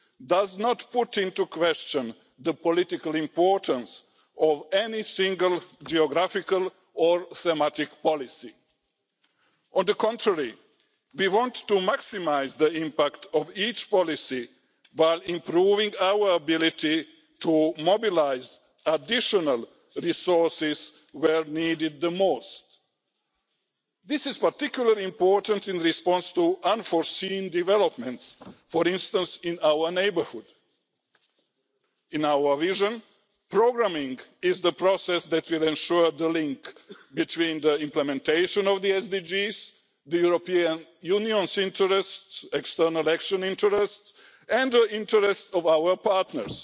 does not call into question the political importance of any single geographical or thematic policy. On the contrary, we want to maximise the impact of each policy while improving our ability to mobilise additional resources where they are needed the most. This is particularly important in response to unforeseen developments, for instance in our neighbourhood. In our vision, programming is the process that will ensure the link between the implementation of the sustainable development goals the European Union's interests, external action interests and the interest of our partners.